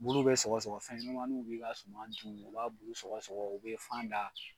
Bulu bɛ sɔgɔsɔgɔ fɛnɲɛnɛmaninw b'i ka suman dun u b'a bulu sɔgɔsɔgɔ u bɛ fan da.